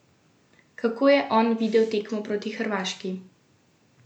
Kako je on videl tekmo proti Hrvaški?